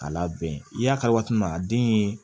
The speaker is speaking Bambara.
A labɛn i y'a kari waati min na a den ye